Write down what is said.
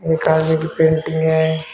एक आदमी की पेंटिंग है।